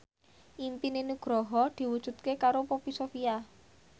impine Nugroho diwujudke karo Poppy Sovia